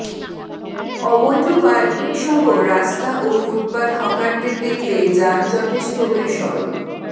অবৈধ পার্কিংসহ রাস্তা ও ফুটপাত হকারদের দখলে যানজটে স্থবির সড়ক